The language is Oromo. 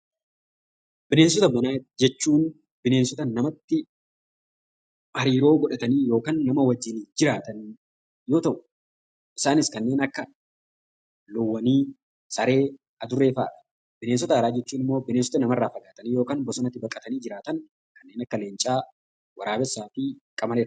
Bineensota manaa jechuun bineensota namatti hariiroo godhatanii yookaan nama waliin jiraatan yoo ta'u, isaanis kanneen akka loonwwanii saree adurree fa'aadha. Bineensota alaa jechuun immoo nama irraa fagaatanii yookaan bosonatti galanii jiraatan kanneen akka leenca waraabessaaa fi qamalee fa'aati.